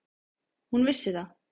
Hún vissi það.